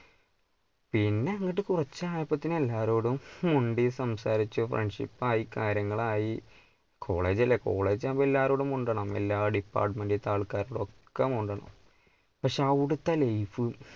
പിന്നെ അങ്ങോട്ട് കുറച്ച് ആയപ്പത്തിന് എല്ലാവരോടും മുണ്ടി സംസാരിച്ചു friendship ആയി കാര്യങ്ങൾ ആയി college അല്ലെ college ആകുമ്പോൾ എല്ലാവരോടും മുണ്ടണം എല്ലാ department ഇൻ്റെ ആൾക്കാരോടും ഒക്കെ മുണ്ടണം പക്ഷേ അവിടുത്ത life